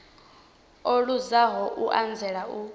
o luzaho u anzela u